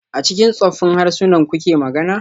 A cikin tsoffin harsunan kuke magana?